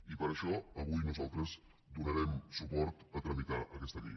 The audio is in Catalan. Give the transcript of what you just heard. i per això avui nosaltres donarem suport a tramitar aquesta llei